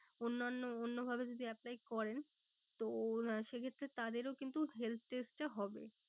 অন্যান্য অন্য ভাবে যদি apply করেন তো সে ক্ষেত্রে তাদেরও কিন্তু health test টা হবে।